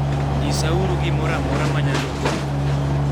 Nyisauru gimoro amora manyalo konyou.